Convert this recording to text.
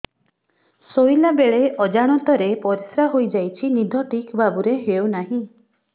ଶୋଇଲା ବେଳେ ଅଜାଣତରେ ପରିସ୍ରା ହୋଇଯାଉଛି ନିଦ ଠିକ ଭାବରେ ହେଉ ନାହିଁ